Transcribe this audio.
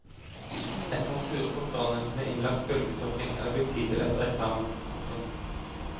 Et par turer på stranden med innlagt bølgesurfing er det blitt tid til etter eksamen. punktum